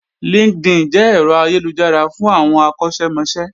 LinkedIn jẹ́ ẹ̀rọ ayélujára fún àwọn akọ́ṣẹ́mọṣẹ́